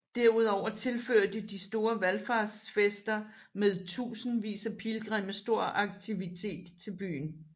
Derudover tilførte de store valfartsfester med tusindvis af pilgrimme stor aktivitet til byen